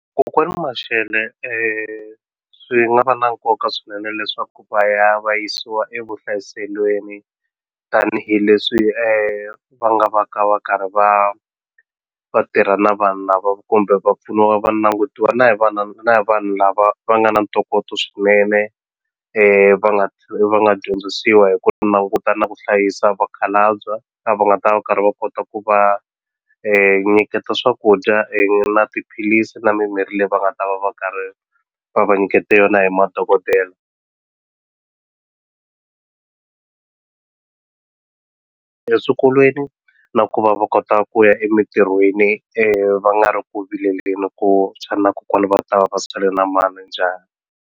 Kokwani Mashele swi nga va na nkoka swinene leswaku va ya va yisiwa evuhlayiselweni tanihileswi va nga va ka va karhi va vatirha na vanhu lava kumbe va pfuniwa va nangutiwa na hi vana na hi vanhu lava va nga na ntokoto swinene va va nga dyondzisiwa hiko ku languta na ku hlayisa vakhalabya lava nga ta va karhi va kota ku va nyiketa swakudya na tiphilisi na mimirhi leyi va nga ta va va karhi va va nyiketa yona hi madokodela eswikolweni na ku va va kota ku ya emintirhweni va nga ri ku vileleni ku xana kokwani va ta va va sale na mani .